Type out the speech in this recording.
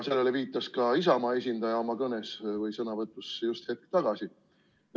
Sellele viitas ka Isamaa esindaja oma sõnavõtus just hetk tagasi.